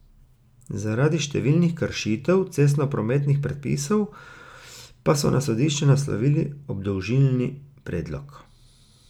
Zaradi številnih kršitev cestnoprometnih predpisov pa so na sodišče naslovili obdolžilni predlog.